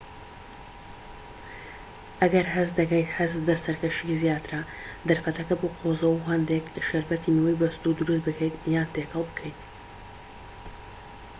ئەگەر هەست دەکەیت حەزت بە سەرکەشیی زیاترە دەرفەتەکە بقۆزەوە هەندێك شەربەتی میوەی بەستوو دروست بکەیت یان تێکەڵ بکەیت